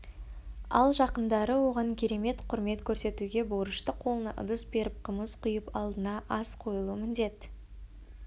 ал жақындары оған керемет құрмет көрсетуге борышты қолына ыдыс беріп қымыз құйып алдына ас қойылу міндет